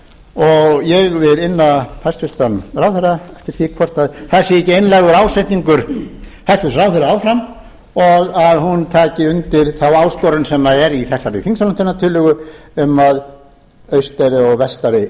og ég vil inna hæstvirtan ráðherra eftir því hvort það sé ekki einlægur ásetningur hæstvirtur ráðherra áfram og að hún taki undir þá áskorun sem er í þessari þingsályktunartillögu um að austari og vestari